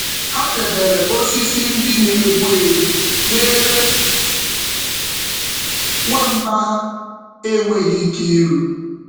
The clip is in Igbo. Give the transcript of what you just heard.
Ha debere osisi ndị na-egbu egbu n’ebe nwamba ha enweghị ike iru.